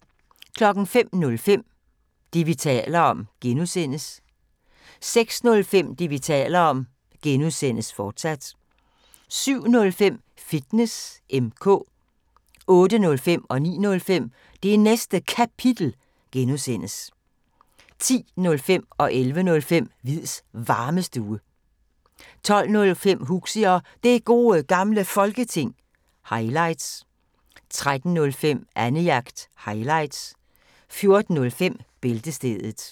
05:05: Det, vi taler om (G) 06:05: Det, vi taler om (G), fortsat 07:05: Fitness M/K 08:05: Det Næste Kapitel (G) 09:05: Det Næste Kapitel (G) 10:05: Hviids Varmestue 11:05: Hviids Varmestue 12:05: Huxi og Det Gode Gamle Folketing – highlights 13:05: Annejagt – highlights 14:05: Bæltestedet